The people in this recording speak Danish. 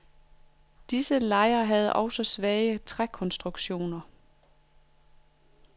Disse lejer havde også svage trækonstruktioner.